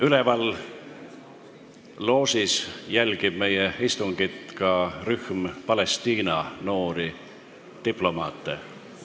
Üleval loožis jälgib meie istungit rühm Palestiina noori diplomaate.